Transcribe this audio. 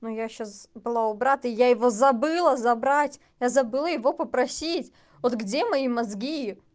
но я сейчас была у брат и я его забыла забрать я забыла его попросить вот где мои мозги